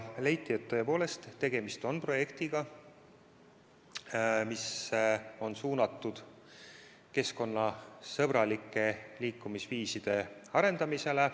Leiti, et tõepoolest tegemist on projektiga, mis on suunatud keskkonnasõbralike liikumisviiside arendamisele.